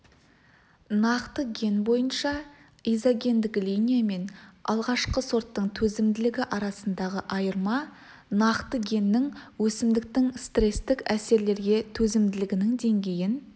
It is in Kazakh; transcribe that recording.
нақты ген бойынша изогендік линия мен алғашқы сорттың төзімділігі арасындағы айырма нақты геннің өсімдіктің стрестік әсерлерге төзімділігінің деңгейін